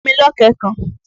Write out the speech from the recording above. Fún mi lọ̀kẹ́ẹ̀ kan!